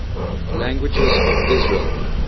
languages of israel